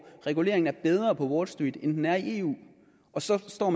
at reguleringen er bedre på wall street end den er i eu og så står